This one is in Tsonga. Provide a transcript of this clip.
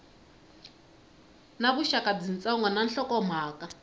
na vuxaka byitsongo na nhlokomhaka